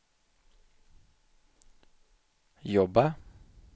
jobba